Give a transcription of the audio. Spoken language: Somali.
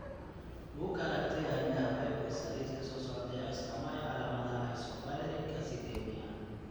Bugga Aragtiyaha Aadanaha waxay bixisaa liiska soo socda ee astaamaha iyo calaamadaha Isovaleric acidemia.